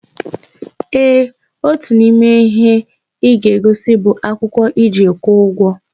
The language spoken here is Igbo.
Eeh, Otu n'ime ihe ịga-egosi bụ akwụkwọ iji kwụọ ugwo